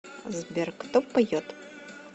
сбер кто поет